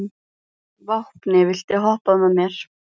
Vápni, viltu hoppa með mér?